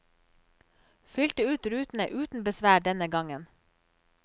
Fylte ut rutene uten besvær denne gangen.